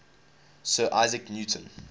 sir isaac newton